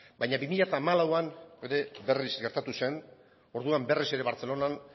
baina bi mila hamalauan ere berriz gertatu zen orduan berriz ere bartzelonan